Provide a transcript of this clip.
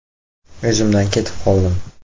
O‘zimdan ketib qoldim.